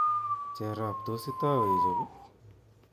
Cherop tos itou ichob?